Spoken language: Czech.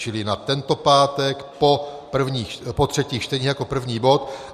Čili na tento pátek po třetích čteních jako první bod.